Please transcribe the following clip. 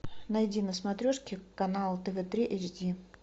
найди на смотрешке канал тв три эйч ди